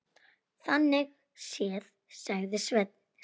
Þannig séð, sagði Sveinn.